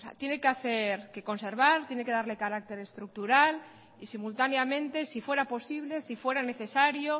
tiene que hacer que conservar tiene que darle carácter estructural y simultáneamente si fuera posible si fuera necesario